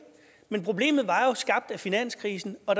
men problemet var jo skabt af finanskrisen og